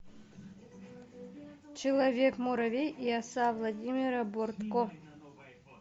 человек муравей и оса владимира бортко